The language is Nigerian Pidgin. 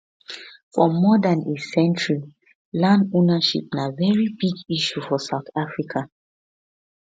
for more dan a century land ownership na very big issue for south africa